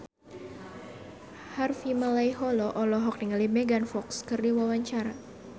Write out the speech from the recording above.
Harvey Malaiholo olohok ningali Megan Fox keur diwawancara